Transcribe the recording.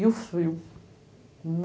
E o frio